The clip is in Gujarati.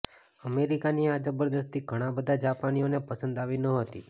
અમેરિકાની આ જબરદસ્તી ઘણા બધાં જાપાનીઓને પસંદ આવી નહોતી